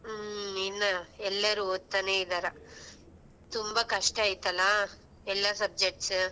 ಹ್ಮ್ ಇನ್ನ ಎಲ್ಲರೂ ಓದ್ತಾನೆ ಇದಾರ ತುಂಬಾ ಕಷ್ಟ ಐತಲಾ ಎಲ್ಲ subjects